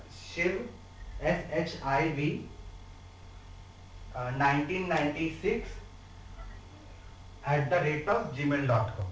Shiva S H I V nineteen ninety-six at the rate of gmail dot com